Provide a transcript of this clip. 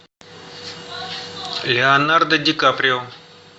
леонардо ди каприо